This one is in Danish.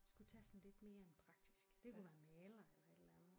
Skulle tage sådan lidt mere en praktisk det kunne være maler eller sådan et eller andet